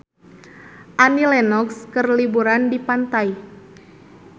Annie Lenox keur liburan di pantai